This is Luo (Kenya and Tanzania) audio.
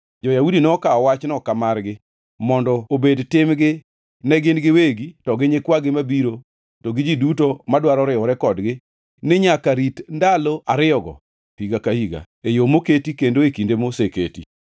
jo-Yahudi nokawo wachno ka margi mondo obed timgi ne gin giwegi to gi nyikwagi mabiro to gi ji duto madwaro riwore kodgi ni nyaka rit ndalo ariyogo higa ka higa, e yo moketi kendo e kinde moseketi.